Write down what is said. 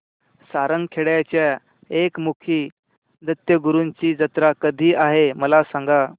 सारंगखेड्याच्या एकमुखी दत्तगुरूंची जत्रा कधी आहे मला सांगा